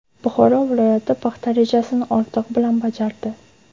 Buxoro viloyati paxta rejasini ortig‘i bilan bajardi.